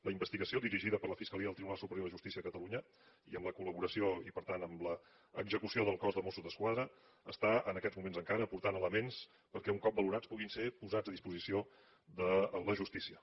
la investigació dirigida per la fiscalia del tribunal superior de justícia de catalunya i amb la col·laboració i per tant amb l’execució del cos de mossos d’esquadra està en aquests moments encara portant elements perquè un cop valorats puguin ser posats a disposició de la justícia